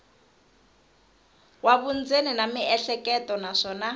wa vundzeni na miehleketo naswona